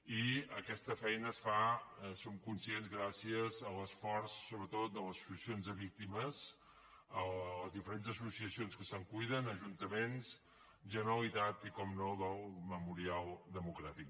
i aquesta feina es fa en som conscients gràcies a l’esforç sobretot de les associacions de víctimes les diferents associacions que se’n cuiden ajuntaments generalitat i com no el memorial democràtic